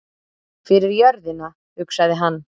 Fyrir jörðina, hugsaði hann.